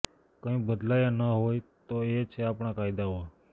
કંઇ બદલાયા ન હોય તો એ છે આપણાં કાયદાઓ